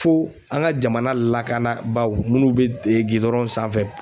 Fo an ka jamana lakanabaaw minnu bɛ gidɔrɔn sanfɛ.